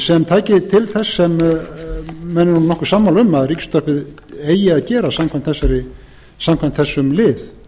sem tæki til þess sem menn eru nú nokkuð sammála um að ríkisútvarpið eigi að gera samkvæmt þessum lið